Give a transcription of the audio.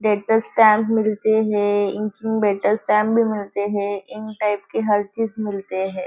मिलते हैं भी मिलते हैं इन टाइप की हर चीज़ मिलते हैं।